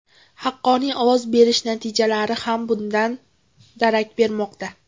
Haqqoniy ovoz berish natijalari ham bundan darak bermoqda.